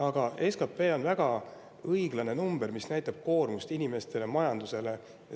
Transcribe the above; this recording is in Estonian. Aga SKT on väga õiglane number, mis näitab koormust inimestele ja majandusele.